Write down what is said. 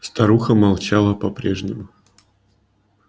старуха молчала по прежнему